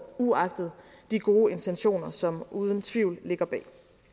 uagtet de gode intentioner som uden tvivl ligger bag